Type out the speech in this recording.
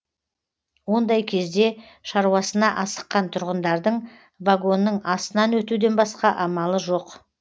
ондай кезде шаруасына асыққан тұрғындардың вагонның астынан өтуден басқа амалы жоқ